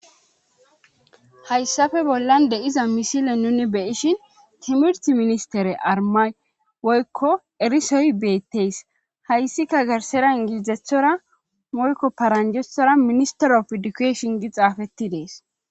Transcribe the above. hayssafe bollan de iza misile nuni beyishin timirt ministere armay woykko erisoy beettees hayssika gersera ingilizethora moyko paranjethora ministerof edukeshon gi xaafetti dees